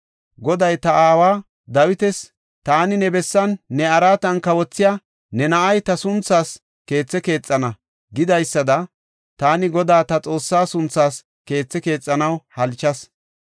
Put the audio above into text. Goday ta aawa Dawitas, ‘Taani ne bessan, ne araatan kawothiya ne na7ay ta sunthaas keethe keexana’ gidaysada taani Godaa ta Xoossa sunthaas keethi keexanaw halchas.